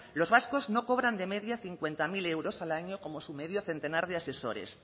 los vascos no cobran de media cincuenta mil euros al año como su medio centenar de asesores